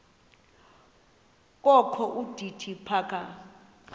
kokho udidi phaka